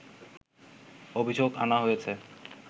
অভিযোগ আনা হয়েছে